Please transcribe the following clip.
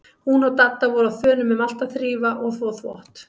Hún og Dadda voru á þönum um allt að þrífa og þvo þvott.